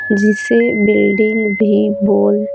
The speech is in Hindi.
जिसे बिल्डिंग भी बोल--